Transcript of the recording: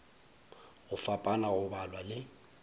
go fapana go balwa le